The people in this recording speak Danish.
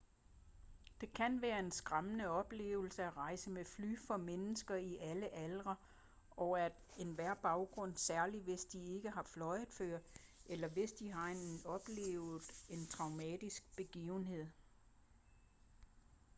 det kan være en skræmmende oplevelse at rejse med fly for mennesker i alle aldre og af enhver baggrund særligt hvis de ikke har fløjet før eller hvis de har oplevet en traumatiserende begivenhed